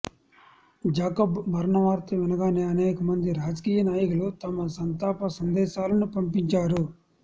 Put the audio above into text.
Jacob మరణవార్త వినగానే అనేకమంది రాజకీయ నాయకులు తమ సంతాప సందేశాలను పంపించారు